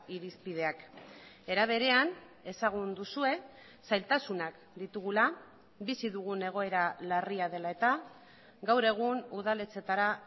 irizpideak era berean ezagun duzue zailtasunak ditugula bizi dugun egoera larria dela eta gaur egun udaletxetara